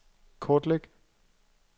kortlæg